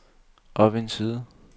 op en side